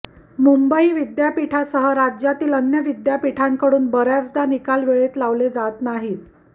मुंबई विद्यापीठासह राज्यातील अन्य विद्यापीठांकडून बर्याचदा निकाल वेळेत लावले जात नाहीत